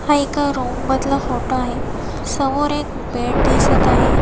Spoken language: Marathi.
हा एका रूम मधला फोटो आहे समोर एक बेड दिसत आहे.